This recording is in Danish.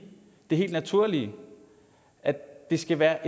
det helt naturlige at det skal være